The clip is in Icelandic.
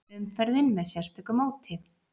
Umferðin með sérstöku móti